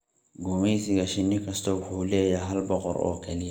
Gumeysiga shinni kasta wuxuu leeyahay hal boqorad oo keliya.